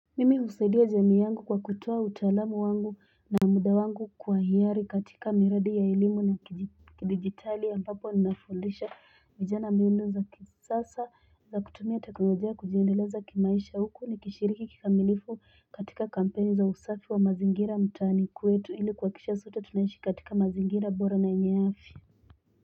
Mimi usaidia jamii yangu kwa kutoa utaalamu wangu na muda wangu kwa hiari katika miradi ya elimu na kidigitali ambapo ninafundisha vijana mbinu za kisasa za kutumia teknologia kujiendeleza kimaisha huku ni kishiriki kikamilifu katika kampeni za usafi wa mazingira mtaani kwetu ili kuhakikisha sote tunaishi katika mazingira bora na yenye afya.